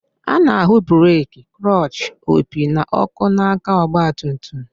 A na-ahụ breeki, klọchị, opi, na ọkụ n'aka ọgbatumtum